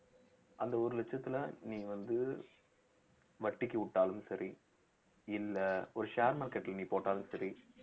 அந்த ஒரு லட்சத்துல நீ வந்து வட்டிக்கு விட்டாலும் சரி இல்ல ஒரு share market ல நீ போட்டாலும் சரி